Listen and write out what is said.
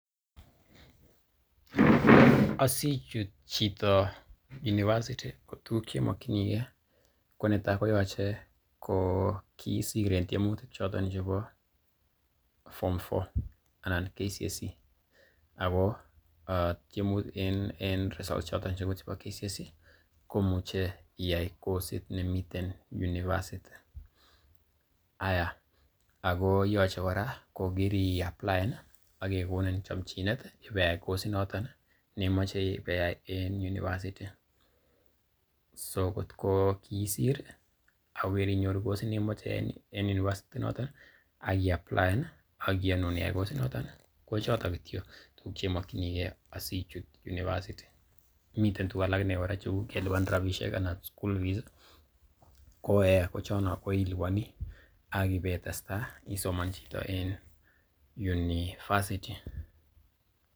Asichut chito univerisity ko tuguk che imokinige ko kiisir en tyemutik choton chebo form four anan KCSE ago en results choton chebo KCSE ko muche iyae kosit noton nemi univeristy . Haiya ago yoche kora ko kiriapplaen ak kegonin chomchinet ibeiyai kosit noton nemoche ibeiyai en univeristy. So kotko kiisir ago kirinyoru kosit nemoche iyai en university inoton ak iapplaen ak kiyonun iyai kosit noton kochoto kityo tuguk che imokinige asichut university miten tuguk alak inee kora kou kelipan rabishek anan school fees ko eeh chono koiliponi ak ipeitesta isoman chito en university .